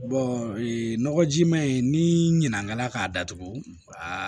nɔgɔjiman in ni ɲina k'a datugu a